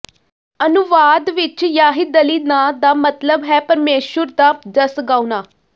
ਅਨੁਵਾਦ ਵਿਚ ਯਾਹਿਦਲੀ ਨਾਂ ਦਾ ਮਤਲਬ ਹੈ ਪਰਮੇਸ਼ੁਰ ਦਾ ਜਸ ਗਾਉਣਾ